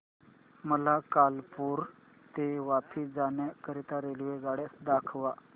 मला कालुपुर ते वापी जाण्या करीता रेल्वेगाड्या दाखवा